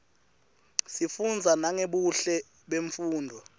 sifunza nangebuhle bemnfundzo